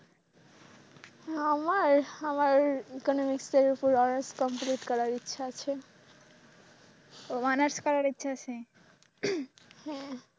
আমার আমার economics উপর economics complete করার ইচ্ছা আছে ও honours করার ইচ্ছা আছে। হ্যাঁ,